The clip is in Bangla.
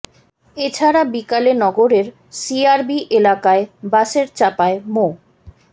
এ ছাড়া বিকালে নগরের সিআরবি এলাকায় বাসের চাপায় মো